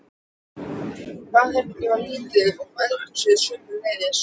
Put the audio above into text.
Baðherbergið var lítið og eldhúsið sömuleiðis.